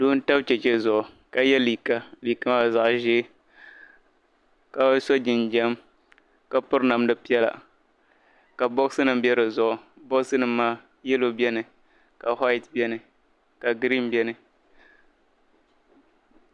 Doo n-tam cheche zuɣu ka ye liiga liiga maa zaɣ'ʒee ka so jinjam ka piri namda piɛla ka bɔbisinima be dizuɣu bɔbisinima maa "yellow" beni ka "white" beni ka "green" beni.